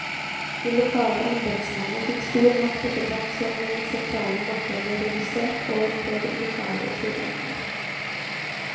De lokale embetsmennene fikk stor makt etter hvert om den sentrale makta ble redusert, og ble lokale tyranner.